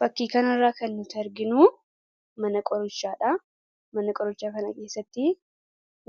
Fakkii kanarraa kan nuti arginu mana qorichaa dha. Mana qorichaa kana keessatti